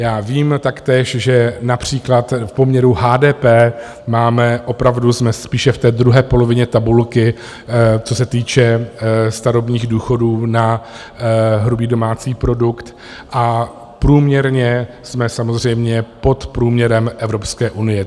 Já vím taktéž, že například v poměru HDP máme, opravdu jsme spíše v té druhé polovině tabulky, co se týče starobních důchodů na hrubý domácí produkt, a průměrně jsme samozřejmě pod průměrem Evropské unie.